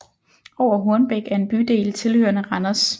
Over Hornbæk er en bydel tilhørende Randers